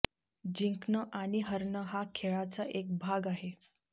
जिंकणं आणि हरणं हा खेळाचा एक भाग आहे